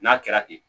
N'a kɛra ten